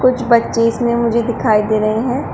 कुछ बच्चे इसमें मुझे दिखाई दे रहे हैं।